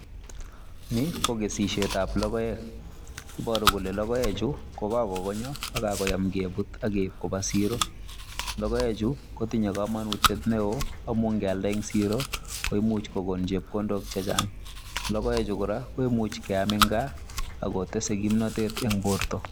Ni kokesusiet ab logoek Ni kobaru Kole logoek kokakonyor akokakoyam kebut koyam Koba siro logoek Chu kotinye kamanut neon amun kiyankyalde en siro komuchbkokon chepkondok chechang logoek Chu koraa koimuchi keyam en gaaakotese kimnatet en borta